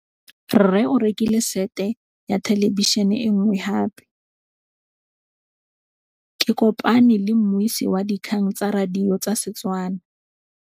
Rre o rekile sete ya thêlêbišênê e nngwe gape. Ke kopane mmuisi w dikgang tsa radio tsa Setswana.